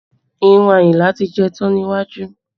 Irun Ayinla ti jẹ tán ní iwájú